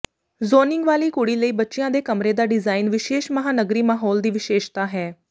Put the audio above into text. zoning ਵਾਲੀ ਕੁੜੀ ਲਈ ਬੱਚਿਆਂ ਦੇ ਕਮਰੇ ਦਾ ਡਿਜ਼ਾਇਨ ਵਿਸ਼ੇਸ਼ ਮਹਾਂਨਗਰੀ ਮਾਹੌਲ ਦੀ ਵਿਸ਼ੇਸ਼ਤਾ ਹੈ